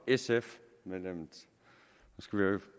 sf medlemmet